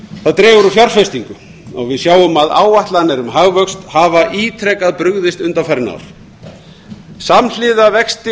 það dregur úr fjárfestingum og við sjáum að áætlanir um hagvöxt hafa ítrekað brugðist undanfarin ár samhliða vexti